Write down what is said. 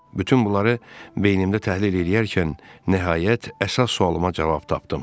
Bütün bunları beynimdə təhlil eləyərkən nəhayət əsas sualıma cavab tapdım.